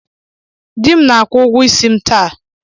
Dị m na-akwụ ụgwọ isi m taa.